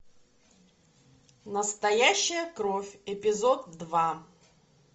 настоящая кровь эпизод два